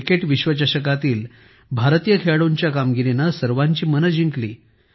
cricket विश्वचषकातील भारतीय खेळाडूंच्या कामगिरीने सर्वांची मने जिंकली